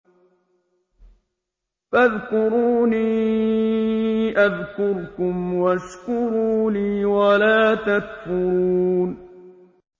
فَاذْكُرُونِي أَذْكُرْكُمْ وَاشْكُرُوا لِي وَلَا تَكْفُرُونِ